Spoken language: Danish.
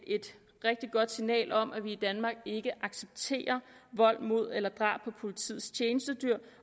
rigtig godt signal om at vi i danmark ikke accepterer vold mod eller drab på politiets tjenestedyr